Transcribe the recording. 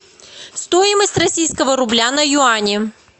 стоимость российского рубля на юани